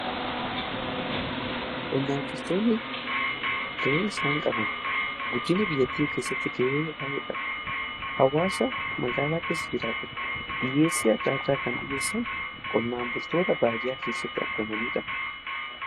Qonnaan bultoonni ga'een isaan qaban guddinna biyyaa keessatti ge'ee baay'eedha. Hawaasa magaalaa keessa jiraatuf dhiyyeessii adda addaa kan dhiyyeessan qonnaan bultoota baadiyaa keessatti argamaniidha.